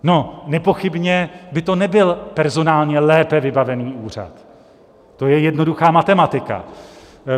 No, nepochybně by to nebyl personálně lépe vybavený úřad, to je jednoduchá matematika.